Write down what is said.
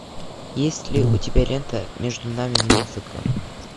есть ли у тебя лента между нами музыка